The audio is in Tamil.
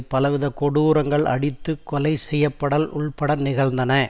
பலவித கொடூரங்கள் அடித்து கொலை செய்யப்படல் உட்பட நிகழ்ந்தன